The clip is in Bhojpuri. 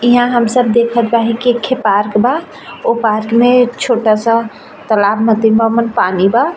ईहा हम सब देखा बाहीं कि एक खे पार्क बा। ओ पार्क में एक छोटा सा तालाब मतिन बा ओमन पानी बा।